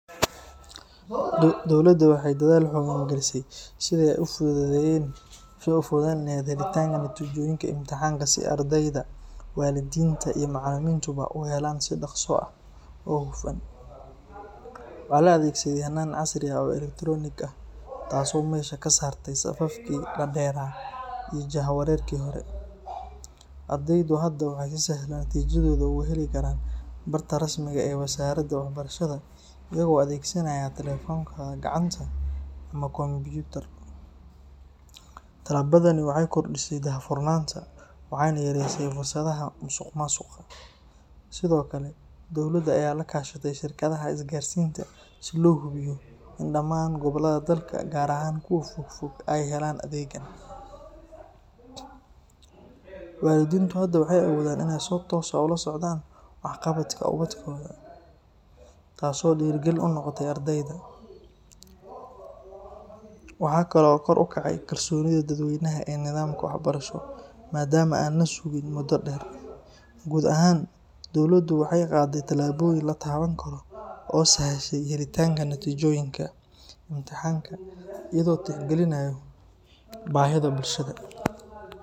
Dowladda waxay dadaal xooggan gelisay sidii ay u fududeyn lahayd helitaanka natiijooyinka imtixaanka si ardayda, waalidiinta iyo macallimiintuba u helaan si dhakhso ah oo hufan. Waxaa la adeegsaday hannaan casri ah oo elektaroonig ah, taasoo meesha ka saartay safafkii dhaadheeraa iyo jahwareerkii hore. Ardaydu hadda waxay si sahlan natiijadooda uga heli karaan barta rasmiga ah ee wasaaradda waxbarashada, iyagoo adeegsanaya taleefankooda gacanta ama kombiyuutar. Tallaabadani waxay kordhisay daahfurnaanta, waxayna yareysay fursadaha musuqmaasuqa. Sidoo kale, dowladda ayaa la kaashatay shirkadaha isgaarsiinta si loo hubiyo in dhamaan gobollada dalka gaar ahaan kuwa fog-fog ay helaan adeeggan. Waalidiintu hadda way awoodaan inay si toos ah ula socdaan waxqabadka ubadkooda, taas oo dhiirrigelin u noqotay ardayda. Waxa kale oo kor u kacay kalsoonida dadweynaha ee nidaamka waxbarasho, maadaama aan la sugin muddo dheer. Guud ahaan, dowladdu waxay qaaday tallaabooyin la taaban karo oo sahashay helitaanka natiijooyinka imtixaanka iyadoo la tixgelinayo baahida bulshada.